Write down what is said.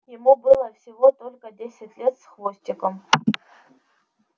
ему было всего только десять лет с хвостиком